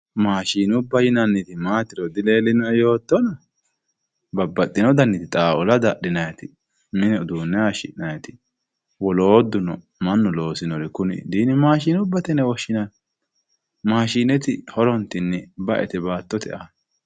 maashinubba yinanniti maatiro dileelinoe yootona babbaxino dani xaaula daxxinayiiti mine uduune hayiishi'nayiiti wolootuno mannu loosinori kuri dimaashinubbate yine woshshinanni maashineeti horontinni ba"ete baatote aana.